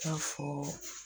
I b'a fɔ